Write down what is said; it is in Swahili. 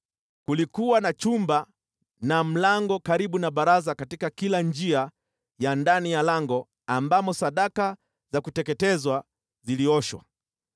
Kulikuwa na chumba na mlango karibu na baraza katika kila njia ya ndani ya lango ambamo sadaka za kuteketezwa zilioshwa.